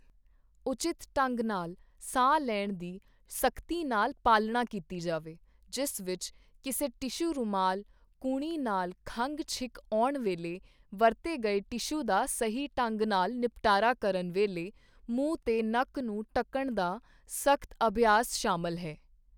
ਉਚਿਤ ਢੰਗ ਨਾਲ ਸਾਹ ਲੈਣ ਦੀ ਸਖਤੀ ਨਾਲ ਪਾਲਣਾ ਕੀਤੀ ਜਾਵੇ ਜਿਸ ਵਿੱਚ ਕਿਸੇ ਟਿਸ਼ੂ ਰੁਮਾਲ ਕੂਹਣੀ ਨਾਲ ਖੰਗ ਛਿੱਕ ਆਉਣ ਵੇਲੇ ਵਰਤੇ ਗਏ ਟਿਸ਼ੂ ਦਾ ਸਹੀ ਢੰਗ ਨਾਲ ਨਿਪਟਾਰਾ ਕਰਨ ਵੇਲੇ ਮੂੰਹ ਤੇ ਨੱਕ ਨੂੰ ਢੱਕਣ ਦਾ ਸਖਤ ਅਭਿਆਸ ਸ਼ਾਮਲ ਹੈ।